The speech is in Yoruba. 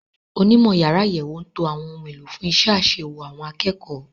Onímọ̀ yàrá àyẹ̀wò ń to àwọn ohun èlò fún iṣẹ́ àṣewò àwọn akẹ́kọ̀ọ́.